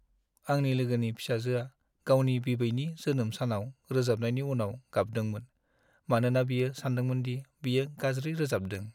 आंनि लोगोनि फिसाजोआ गावनि बिबैनि जोनोम सानाव रोजाबनायनि उनाव गाबदोंमोन मानोना बियो सानदोंमोनदि बियो गाज्रि रोजाबदों।